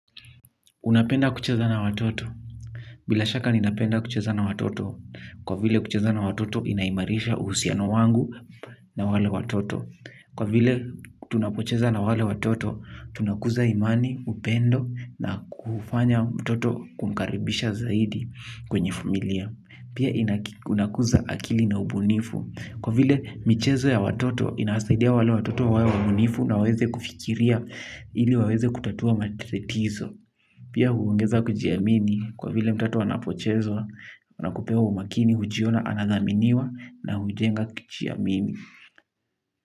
Napenda kucheza na watoto, bila shaka ninapenda kucheza na watoto, kwa vile kucheza na watoto inaimarisha uhusiano wangu na wale watoto. Kwa vile tunapocheza na wale watoto, tunakuza imani, upendo na kufanya mtoto kumkaribisha zaidi kwenye familia. Pia inakuza akili na ubunifu, kwa vile michezo ya watoto inasaidia wale watoto wae wabunifu na waweze kufikiria ili waweze kutatua matatizo. Pia huongeza kujiamini kwa vile mtoto anapocheza, wanakupea umakini hujiona anathaminiwa na hujenga kujiamini.